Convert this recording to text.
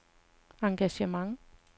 engagement